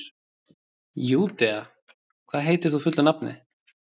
Júdea, hvað heitir þú fullu nafni?